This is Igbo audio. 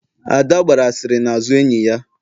Ada gbara asịrị n'azụ enyi ya